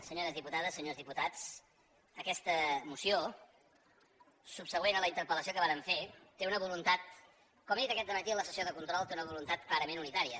senyores diputades senyors diputats aquesta moció subsegüent a la interpellació que vàrem fer té una voluntat com he dit aquest matí en la sessió de control clarament unitària